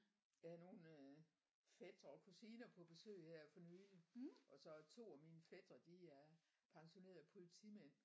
Jeg havde nogle øh fætre og kusiner på besøg her for nyligt og så to af mine fætre de er pensionerede polititmænd